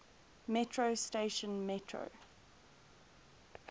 metro station metro